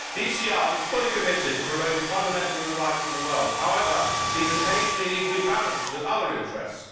The ECR is fully committed to promoting fundamental human rights in the world. However, these occasionally need to be balanced with other interests.